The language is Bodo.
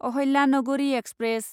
अहल्यानगरि एक्सप्रेस